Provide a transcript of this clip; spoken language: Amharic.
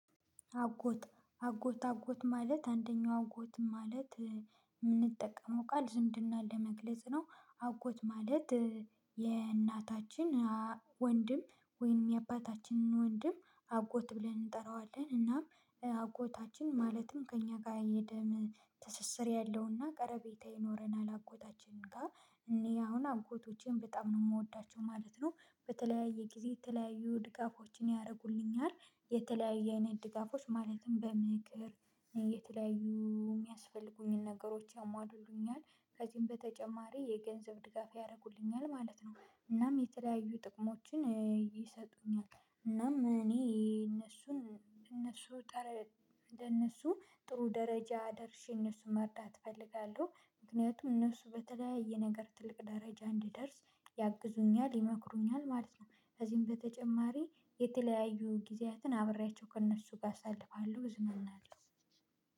አጎት አጎት አጎት ማለት አንደኛው አጎት ማለት የምንጠቀመው ቃል ዝምድና ለመግለጽ ነው። አጎት ማለት። የእናታችን ወንድም ወይንም የአባታችንን ወንድም አጎት ብለን እንጠራዋለን እናም አጎታችን ማለትም ከእኛ ጋር የደም ትስስር ያለውና ቀረቤታ ይኖረናል አጎታችን ጋር። እኔ አሁን አጎቶቼን በጣም ነው የምወዳቸው ማለት ነው። በተለያየ ጊዜ የተለያዩ ድጋፎችን ያደርጉልኛል። የተለያየ አይነት ድጋፎች ማለትም በምክር የተለያዩ የሚያስፈልጉኝን ነገሮች ያሟሉሉኛል ከዚህም በተጨማሪ የገንዘብ ድጋፍ ያደርጉልኛል ማለት ነው። እናም የተለያዩ ጥቅሞችን ይሰጡኛል እናም እኔ እነሱን እነሱን እንደነሱ ጥሩ ደረጃ ደርሼ እነሱን መርዳት እፈልጋለሁ። ምክንያቱም እነሱ በተለያየ ነገር ትልቅ ደረጃ እንዲደርስ ያግዙኛል ይመክሩኛል ማለት ነው። ከዚህም በተጨማሪ የተለያዩ ጊዜያትን አብሬያቸው ከእነሱ ጋር አሳልፋለሁ እዝናናለሁ።